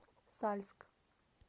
сальск